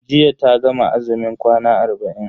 Jiya ta gama azumin kwana arba'in.